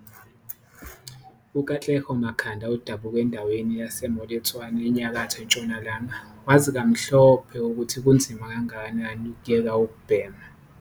UKatlego Makhanda odabuka endaweni yase-Moiletswane eNyakatho Ntshonalanga wazi kamhlophe ukuthi kunzima kangakanani ukuyeka ukubhema.